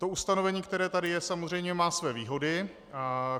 To ustanovení, které tady je, samozřejmě má své výhody.